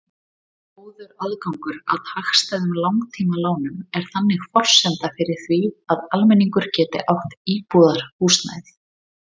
Góður aðgangur að hagstæðum langtímalánum er þannig forsenda fyrir því að almenningur geti átt íbúðarhúsnæði.